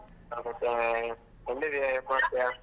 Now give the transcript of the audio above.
ಎಲ್ಲಿಗೆ .